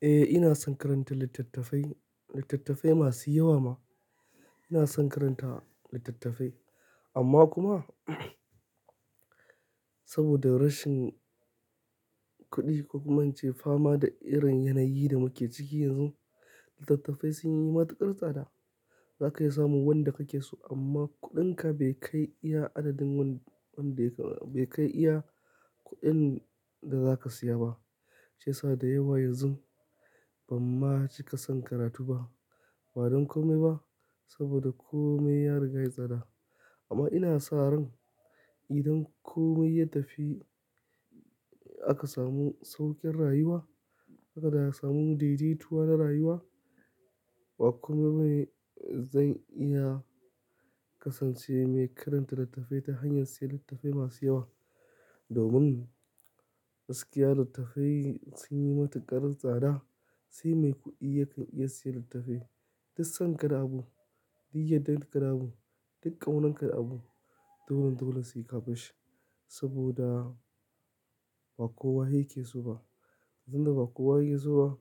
Eh, ina son karanta littattafai, littattafai masu yawa ma. Ina son karanta littattafai amma kuma saboda rashin kuɗi, ko kuma in ce fama da irin yanayi da muke ciki yanzu, littattafai sun yi matuƙar tsada. Za ka iya samun wanda kake so amma kuɗinka bai kai iya adadin wanda bai kai iya kuɗin da za ka siya ba. Shiyasa da yawa yanzu ban ma cika son karatu ba, ba don kome ba saboda kome ya riga yayi tsada. Amma ina sa ran idan komai ya tafi aka samu sauƙin rayuwa, haka da ya samu daidaituwa na rayuwa, ba komai bane, zan iya kasance mai karanta littattafai ta hanyar siyan littattafai masu yawa. Domin gaskiya littattafai sun yi matuƙar tsada, sai mai kuɗi yake iya siya littattafai. Duk son ka da abu, duk yaddan ka da abu, duk ƙaunan ka da abu, dolen dole sai ka bashi saboda ba kowa yake so ba. Tunda ba kowa yake so ba,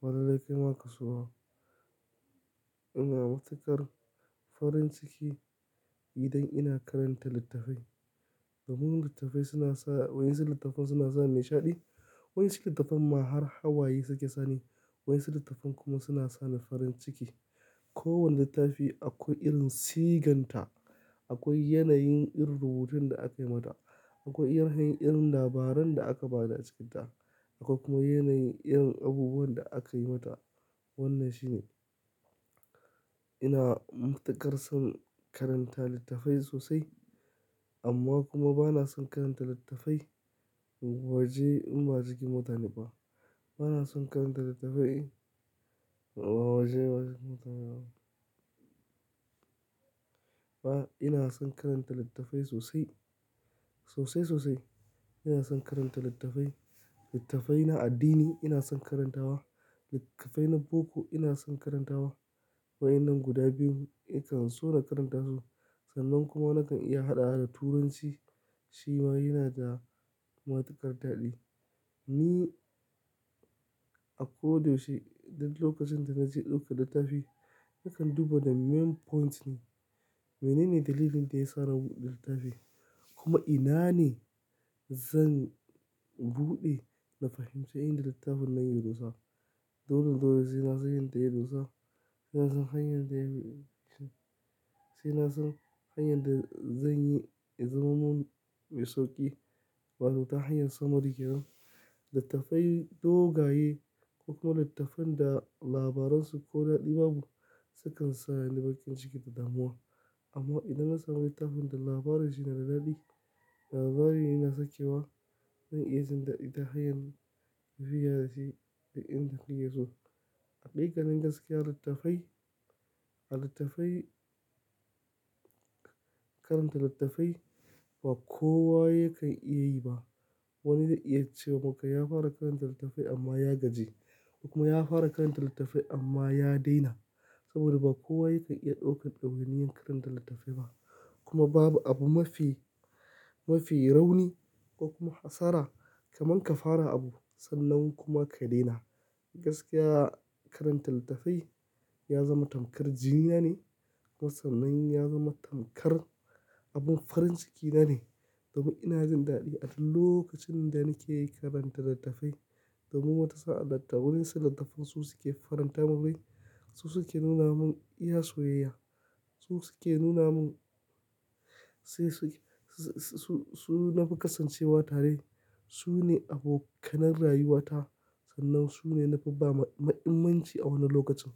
ba lallai kai ma ka so ba. Ina matuƙar farin ciki idan ina karanta littattafai. Domin littattafai suna sa-- waɗansu littattafai suna sa nishaɗi, waɗansu littattafai ma har hawaye suke sani, waɗansu littattafai kuma suna sa ni farin ciki. Kowane littafi akwai irin siganta, akwai yanayin irin rubutun da aka yi mata, akwai irin hanyar labaran da aka ba da cikinta, akwai kuma yanayin irin abubuwan da aka yi mata. Wannan shine. Ina matuƙar son karanta littafai sosai amma kuma ba na son karanta littafai waje in ba jikin mutane ba. Ba na son karanta littafai waje wajen mutane ba. Ina son karanta littafai sosai, sosai, sosai. Ina son karanta littattafai. Littattafai na addini ina son karantawa, littattafai na boko ina son karantawa. Wayannan guda biyun nakan so na karanta su. Sannan kuma nakan iya haɗawa da Turanci shi ma yana da matuƙar daɗi. Ni a ko da yaushe duk lokacin da na je ɗauka littafi, nakan duba da main point ne. Menene dalilin da ya sa na buɗe littafin? Kuma ina ne zan buɗe da fahimce inda littafin na yi rusa? Dolen dole sai na san inda ya dosa. Ina son hanyar da zanyi, saina san hanyar da zanyi ya zamo mun mai sauƙi. Wato ta hanyar summary kenan. Littafai dogaye, ko kuma littafan da labaran su ko daɗi babu sukan sa ni bakin ciki ta damuwa. Amma idan na samu littafin da labarin shi nada daɗi, labarin ina sakewa, zan iya jin daɗi ta hanyar tafiya da shi yayin da kinyi so. Haƙiƙanin gaskiya, littafai, littafai, karanta littattafai ba kowa yake iya yi ba. Wani zai iya cewa maka ya fara karanta littafai amma ya gaji ko kuma ya fara karanta littafai amma ya daina. Saboda ba kowa yake iya ɗaukan ɗawainiyan karanta littafai ba. Kuma babu abu mafi, mafi rauni ko kuma hasara kamar ka fara abu sannan kuma ka daina. Gaskiya, karanta littafai ya zama tamkar jini na ne kuma sannan ya zama tamkar abin farin ciki na ne. Domin ina jin daɗi a duk lokacin da nake karanta littattafai. Domin wata sa'a littafai su suke faranta mun rai, su suke nuna mun iya soyayya, su suke nuna mun, sai su, su, su, su, su na fi kasancewa tare, su ne abokanan rayuwata sannan su ne na fi ba ma'imanci a wani lokacin.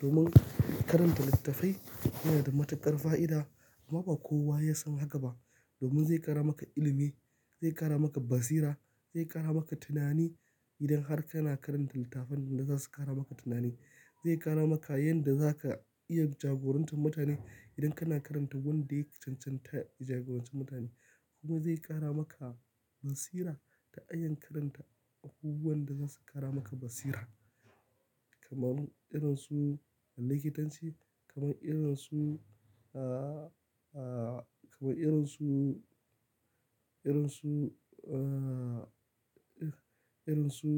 Domin karanta littattafai yana da matuƙar fa'ida amma ba kowa ya san haka ba. Domin zai ƙara maka ilimi, zai ƙara maka basira, zai ƙara maka tunani idan har kana karanta littafan da za su ƙara maka tunani. Zai ƙara maka yanda za ka iya jagorantan mutane idan kana karanta wanda yake cancanta jagorancin mutane. Kuma zai ƙara maka basira ta hanyan karanta abubuwan da za su ƙara maka basira kamar irin su likitanci, kamar irin su, kamar irin su, irin su, ah, irin su.